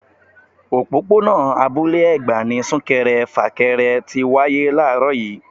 Òpópónà Abúlé Ẹ̀gbá ni sunkẹrẹ fakẹrẹ tí wáyé làárọ̀ yii